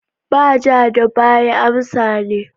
Ba ja da baya amsan ne.